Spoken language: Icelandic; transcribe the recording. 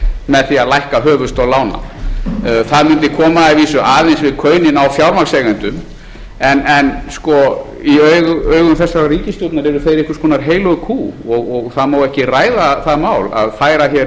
með því að lækka höfuðstól lána það mundi koma að vísu aðeins við kaunin á fjármagnseigendum en í augum þessarar ríkisstjórnar eru þeir einhvers konar heilög kýr og það má ekki ræða það mál að færa hér